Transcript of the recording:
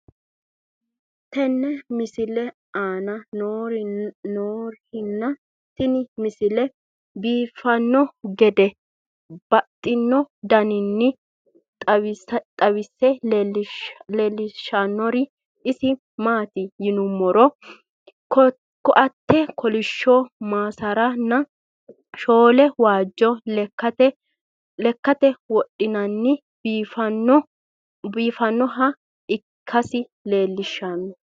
tenne misile aana noorina tini misile biiffanno garinni babaxxinno daniinni xawisse leelishanori isi maati yinummoro koate kolishsho, masaara nna shoole waajjo lekkatte wodhinkki biiffannoha ikkassi xawissanno.